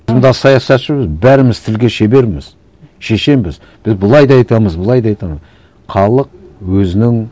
мында саясатшымыз бәріміз тілге шеберміз шешенбіз біз былай да айтамыз былай да айтамыз халық өзінің